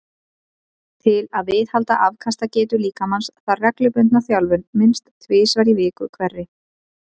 Til að viðhalda afkastagetu líkamans þarf reglubundna þjálfun minnst tvisvar í viku hverri.